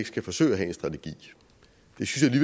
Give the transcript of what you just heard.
skal forsøge at have en strategi det synes